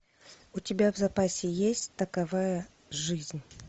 у тебя в запасе есть такова жизнь